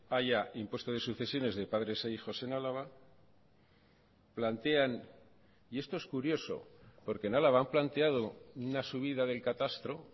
haya impuesto de sucesiones de padres e hijos en álava plantean y esto es curioso porque en álava han planteado una subida del catastro